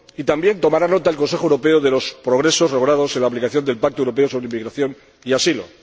y también tomará nota el Consejo Europeo de los progresos logrados en la aplicación del Pacto europeo sobre inmigración y asilo.